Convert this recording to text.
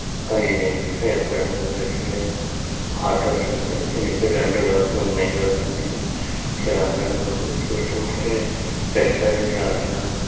ఇదేంటిదో ఎక్కడుందో కూడా తెలియదు ఆటోస్ ఉన్నాయి దీనికి రెండు రోడ్లు మెయిన్ రోడ్లు ఉన్నాయి చాలా అందంగా ఉంది చూస్తుంటే రెస్టారెంట్ల లా లా ఉంది